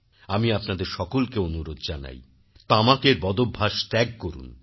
আমি আপনাদের সকলকে অনুরোধ জানাই তামাকের বদভ্যাস ত্যাগ করুন এবং